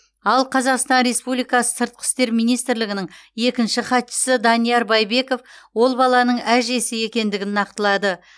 ал қазақстан республикасы сыртқы істер министрлігінің екінші хатшысы данияр байбеков ол баланың әжесі екендігін нақтылады